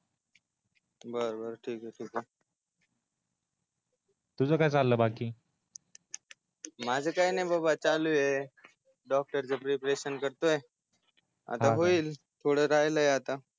बर बर ठीक आहे ठीक आहे ठीक आहे तुज काय चाललाय बाकी मज काय नाही बाबा चालू आहे डॉक्टर च प्रिपरेशन करतोय आता होईल थोड राहील आता